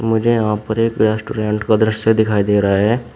मुझे यहाँ पर एक रेस्टोरेंट का दृश्य दिखाई दे रहा है।